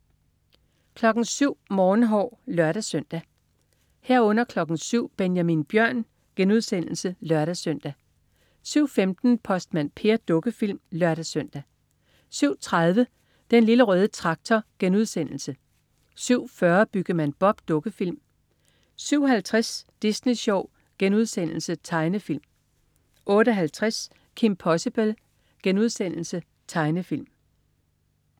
07.00 Morgenhår (lør-søn) 07.00 Benjamin Bjørn* (lør-søn) 07.15 Postmand Per. Dukkefilm (lør-søn) 07.30 Den Lille Røde Traktor* 07.40 Byggemand Bob. Dukkefilm 07.50 Disney Sjov.* Tegnefilm 08.50 Kim Possible.* Tegnefilm